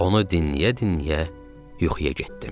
Onu dinləyə-dinləyə yuxuya getdim.